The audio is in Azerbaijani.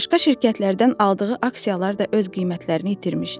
Başqa şirkətlərdən aldığı aksiyalar da öz qiymətlərini itirmişdi.